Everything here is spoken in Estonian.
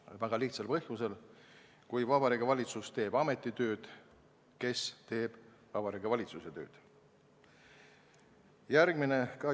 Sellel on väga lihtne põhjus: kui Vabariigi Valitsus teeb ametnike tööd, siis kes teeb Vabariigi Valitsuse tööd?